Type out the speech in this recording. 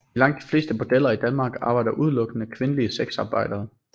I langt de fleste bordeller i Danmark arbejder udelukkende kvindelige sexarbejdere